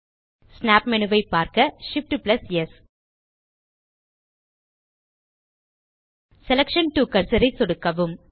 snap menu ஐ பார்க்க Shift ஆம்ப் ஸ் செலக்ஷன் டோ கர்சர் ஐ சொடுக்கவும்